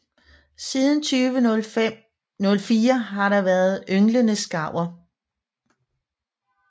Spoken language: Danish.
Siden 2004 har der været ynglende skarver